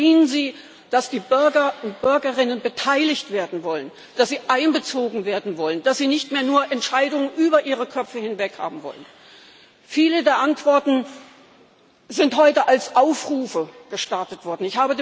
Verstehen Sie, dass die Bürger und Bürgerinnen beteiligt werden wollen, dass sie einbezogen werden wollen, dass sie nicht mehr nur Entscheidungen über ihre Köpfe hinweg haben wollen! Viele der Antworten sind heute als Aufrufe gestartet worden.